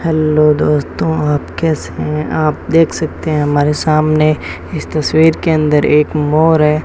Hello दोस्तों आप कैसे हैं आप देख सकते हैं हमारे सामने इस तस्वीर के अंदर एक मोर है।